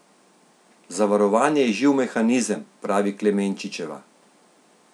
Zavarovanje je živ mehanizem, pravi Klemenčičeva.